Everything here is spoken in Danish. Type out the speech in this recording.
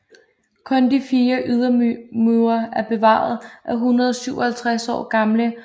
Kun de fire ydermure er bevaret af den 157 år gamle hotelhovedbygning